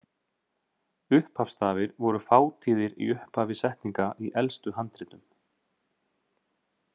Upphafsstafir voru fátíðir í upphafi setninga í elstu handritum.